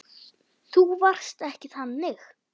Þú varst ekki þannig.